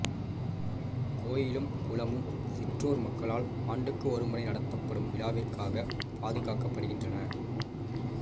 கோயிலும் குளமும் சிற்றூர் மக்களால் ஆண்டுக்கு ஒருமுறை நடத்தப்படும் விழாவிற்காக பாதுகாக்கப்படுகின்றன